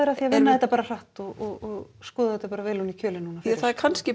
að því að vinna þetta bara hratt og skoða þetta bara vel ofan í kjölinn núna ja það er kannski